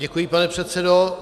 Děkuji, pane předsedo.